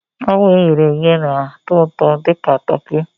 Frog e ghere eghe na-atọ ụtọ dị ka Turkey azụ